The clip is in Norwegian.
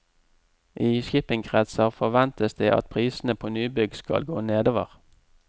I shippingkretser forventes det at prisene på nybygg skal gå nedover.